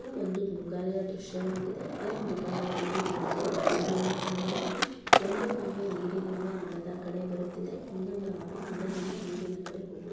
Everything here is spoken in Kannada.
ಇದು ಒಂದು ಮೃಗಾಲಯ ದೃಶ್ಯವಾಗಿದೆ. ಈ ಮೃಗಾಲಯದಲ್ಲಿ ನಾವು ಮೂರು ಆಮೆಗಳನ್ನು ಕಾಣಬಹುದು. ಒಂದು ಆಮೆ ನೀರಿನಿಂದ ನೆಲದ ಕಡೆ ಬರುತ್ತಿದೆ ಇನ್ನೊಂದು ಆಮೆ ನೆಲದಿಂದ ನೀರಿನ ಕಡೆ ಹೋಗು--